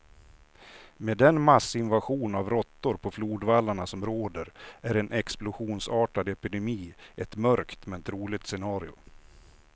Med den massinvasion av råttor på flodvallarna som råder är en explosionsartad epidemi ett mörkt, men troligt scenario.